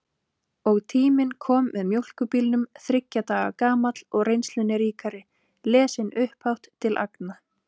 Og Tíminn kom með mjólkurbílnum þriggja daga gamall og reynslunni ríkari, lesinn upphátt til agna.